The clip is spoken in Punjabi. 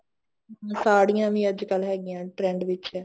ਸਾੜੀਆਂ ਵੀ ਹੈਗੀਆਂ ਅੱਜਕਲ trend ਵਿੱਚ